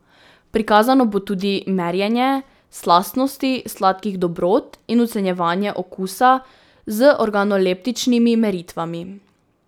Prikazano bo tudi merjenje slastnosti sladkih dobrot in ocenjevanje okusa z organoleptičnimi meritvami.